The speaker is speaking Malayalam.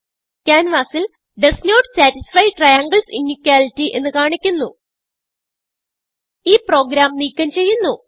ക്യാൻവാസിൽ does not satisfy triangles inequality എന്ന് കാണിക്കുന്നു ഈ പ്രോഗ്രാം നീക്കം ചെയ്യുന്നു